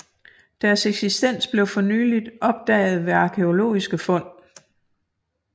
Deres eksistens blev for nylig opdaget ved arkæologiske fund